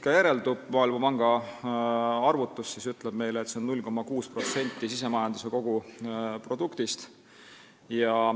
Maailmapanga arvutus ütleb meile, et need on 0,6% SKT-st.